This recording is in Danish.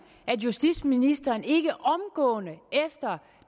at justitsministeren efter